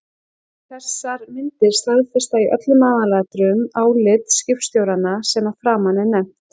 Þessar myndir staðfesta í öllum aðalatriðum álit skipstjóranna sem að framan er nefnt.